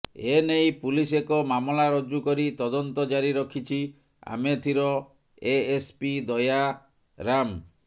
ଏ ନେଇ ପୁଲିସ ଏକ ମାମଲା ରୁଜ୍ଜୁ କରି ତଦନ୍ତ ଜାରି ରଖିଛି ଆମେଥିର ଏଏସପି ଦୟାରାମ